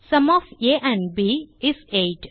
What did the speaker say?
sum of a and b is 8